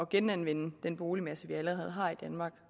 genanvende den boligmasse vi allerede har i danmark